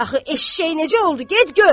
Axı eşşək necə oldu, get gör!